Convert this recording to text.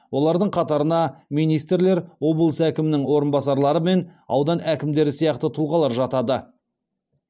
олардың қатарына министрлер облыс әкімінің орынбасарлары мен аудан әкімдері сияқты тұлғалар жатады